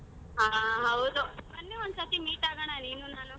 ಹಾ ಹೌದು ಬನ್ನಿ ಒಂದ್ ಸತಿ meet ಆಗೋಣ ನೀನು ನಾನು.